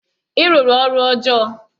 Ị rụrụ ọrụ ọjọọ!